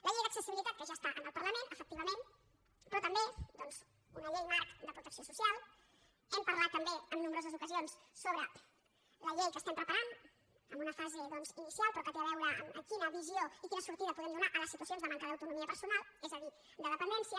la llei d’accessibilitat que ja està en el parlament efectivament però també doncs una llei marc de protecció social hem parlat també en nombroses ocasions sobre la llei que estem preparant en una fase inicial però que té a veure amb quina visió i quina sortida podem donar a les situacions de manca d’autonomia personal és a dir de dependència